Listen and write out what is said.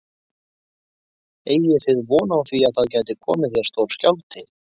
Eigið þið von á því að það gæti komið hér stór skjálfti?